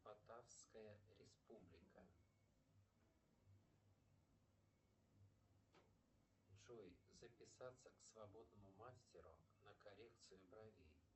татарская республика джой записаться к свободному мастеру на коррекцию бровей